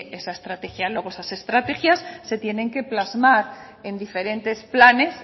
esa estrategia luego esas estrategias se tienen que plasmar en diferentes planes